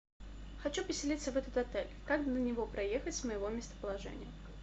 хочу поселиться в этот отель как до него проехать с моего местоположения